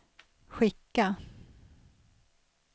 skicka